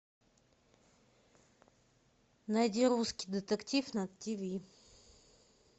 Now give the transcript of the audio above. найди русский детектив на тв